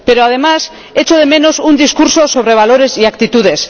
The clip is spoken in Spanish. Pero, además, echo de menos un discurso sobre valores y actitudes.